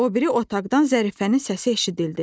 O biri otaqdan Zərifənin səsi eşidildi.